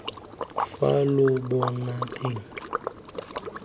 fa lobotaneng lwa me pula